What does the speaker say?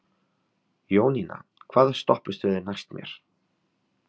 Jónína, hvaða stoppistöð er næst mér?